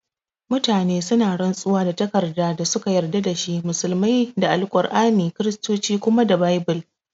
Mutane suna rantsuwa da takardar da suka yarda da shi, musulmai da al'aur'ani, Kiristoci kuma da baibul